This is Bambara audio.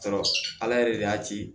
Sɔrɔ ala yɛrɛ de y'a ci